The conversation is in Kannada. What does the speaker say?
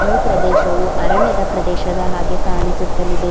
ಈ ಪ್ರದೇಶವು ಅರಣ್ಯದ ಪ್ರದೇಶದ ಹಾಗೆ ಕಾಣಿಸುತ್ತಲಿದೆ.